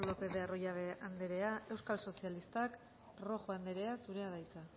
lópez de arroyabe anderea euskal sozialistak rojo anderea zurea da hitza